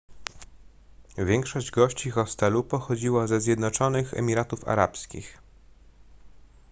większość gości hostelu pochodziła ze zjednoczonych emiratów arabskich